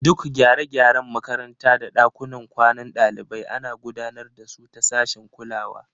Duk gyare-gyaren makaranta da ɗakunan kwanan ɗalibai ana gudanar da su ta sashin kulawa.